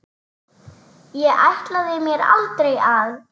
Ég ætlaði mér aldrei að.